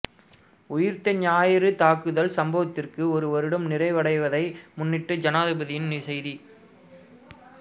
உயிர்த்த ஞாயிறு தாக்குதல் சம்பவத்திற்கு ஒரு வருடம் நிறைவடைவதை முன்னிட்டு ஜனாதிபதியின் செய்தி